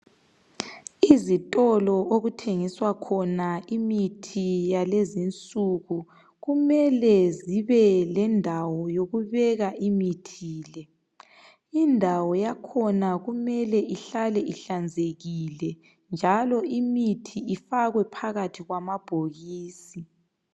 izitolo okuthengiselwa khona imithi yalezinsuku kumele zibe lendawo yokubeka imithi le indawo yakhona kumele ihlale ihlanzekile njalo imithi ifakwe phakathi kwamabhokisi